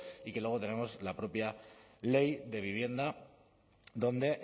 y que luego tenemos la propia ley de vivienda donde